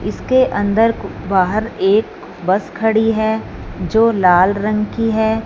इसके अंदर बाहर एक बस खड़ी है जो लाल रंग की है।